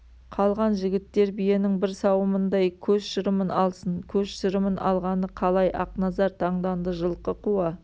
қалған жігіттер биенің бір сауымындай көз шырымын алсын көз шырымын алғаны қалай ақназар таңданды жылқы қуа